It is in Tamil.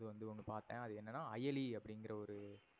இது வந்து ஒன்னு பாத்தன். அது என்னனா அயலி அப்டிங்குற ஒரு